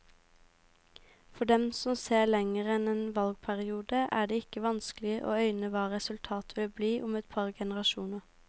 For dem som ser lenger enn en valgperiode, er det ikke vanskelig å øyne hva resultatet vil bli om et par generasjoner.